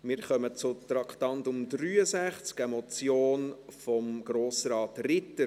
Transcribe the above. Wir kommen zu Traktandum 63, einer Motion von Grossrat Ritter.